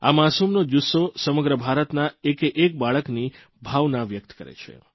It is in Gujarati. આ માસૂમનો જુસ્સો સમગ્ર ભારતના એકેએક બાળકની ભાવના વ્યકત કરે છે